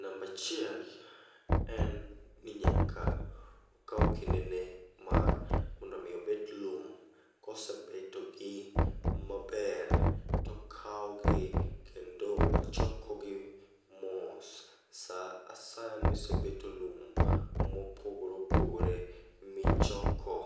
Nambachiel en ni nyaka okaw kindene mar mondo mi obet lum. Kosebetogi maber, tokawogi kendo ochokogi mos. Sa asaya misebeto lum mopogore opogore michoko